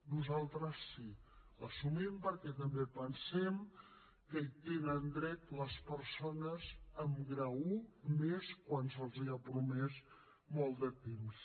nosaltres sí l’assumim perquè també pensem que hi tenen dret les persones amb grau i i més quan se’ls l’ha promès molt de temps